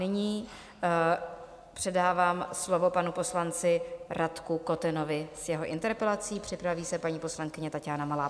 Nyní předávám slovo panu poslanci Radku Kotenovi s jeho interpelací, připraví se paní poslankyně Taťána Malá.